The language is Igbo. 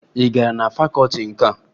Ị gara na fakọọti nka?